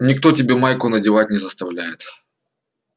никто тебя майку надевать не заставляет